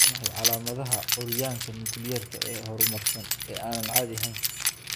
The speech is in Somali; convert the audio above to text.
Waa maxay calaamadaha iyo calaamadaha curyaanka nukliyeerka ah ee horumarsan ee aan caadi ahayn?"